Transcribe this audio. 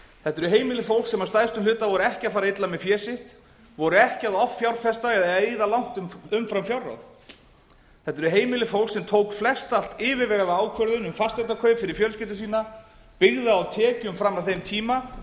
þetta eru heimili fólks sem að stærstum hluta voru ekki að fara illa með fé sitt voru ekki að offjárfesta eða eyða langt umfram fjárráð þetta eru heimili fólks sem tók flestallt yfirvegaða ákvörðun um fasteignakaup fyrir fjölskyldu sína byggði á tekjum fram að þeim tíma